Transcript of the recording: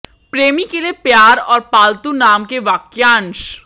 प्रेमी के लिए प्यार और पालतू नाम के वाक्यांश